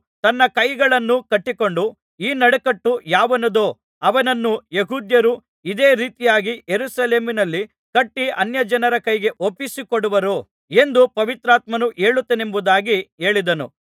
ತನ್ನ ಕೈಕಾಲುಗಳನ್ನು ಕಟ್ಟಿಕೊಂಡು ಈ ನಡುಕಟ್ಟು ಯಾವನದೋ ಅವನನ್ನು ಯೆಹೂದ್ಯರು ಇದೇ ರೀತಿಯಾಗಿ ಯೆರೂಸಲೇಮಿನಲ್ಲಿ ಕಟ್ಟಿ ಅನ್ಯಜನರ ಕೈಗೆ ಒಪ್ಪಿಸಿ ಕೊಡುವರು ಎಂದು ಪವಿತ್ರಾತ್ಮನು ಹೇಳುತ್ತಾನೆಂಬುದಾಗಿ ಹೇಳಿದನು